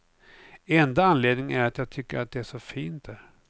Enda anledningen är att jag tycker att det är så fint där.